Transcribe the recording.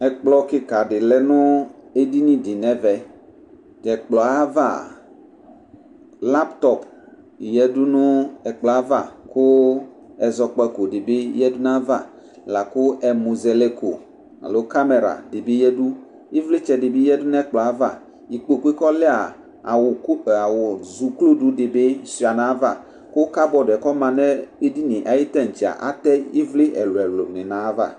Ɛƙplɔ ƙɩka ɖɩ lɛ nʋ edini ɖɩ n'ɛvɛ Tʋ ɛƙplɔ ava, laptɔp ɖɩ ƴǝ du nʋ ɛƙplɔ ava, ƙʋ ɛzɔkpako ɖɩ bɩ ƴǝ du nʋ ava, la kʋ ɛmʋzɛlɛko alo kamera ɖɩ bɩ ƴǝ ɖuƖvlɩtsɛ ɖɩ bɩ ƴǝ du nʋ ɛƙplɔ avaIkpokue kɔlɛaa ,awʋ kup awʋ tsoku ɖɩ bɩ suɩa nʋ aƴava, ƙʋ ƙabɔɖɛ ƙɔ ma nʋ edinie aƴʋ tatsɛa, atɛ ɩvlɩ ɛlʋɛlʋ nɩ nʋ ayava